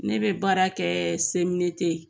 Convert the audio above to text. Ne bɛ baara kɛ CMDT